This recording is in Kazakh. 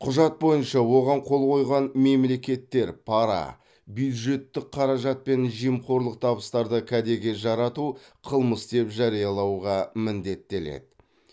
құжат бойынша оған қол қойған мемлекеттер пара бюджеттік қаражат пен жемқорлық табыстарды кәдеге жарату қылмыс деп жариялауға міндеттеледі